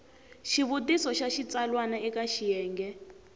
xivutiso xa xitsalwana eka xiyenge